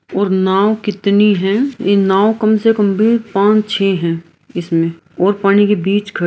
और नाव कितनी है इ नाव कम से कम भी पांच छ है इसमें और पानी के बीच ख --